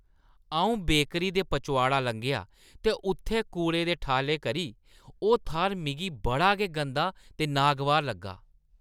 अऊं बेकरी दे पचोआड़ा लंघेआ ते उत्थै कूड़े दे ठालें करी ओह् थाह्‌र मिगी बड़ा गै गंदा ते नागवार लग्गा ।